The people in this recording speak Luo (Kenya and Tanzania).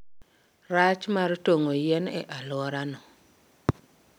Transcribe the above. rach mar tong'o yien e alworano.